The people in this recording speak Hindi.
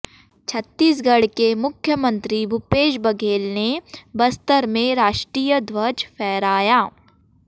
छत्तीसगढ़ के मुख्यमंत्री भूपेश बघेल ने बस्तर में राष्ट्रीय ध्वज फहराया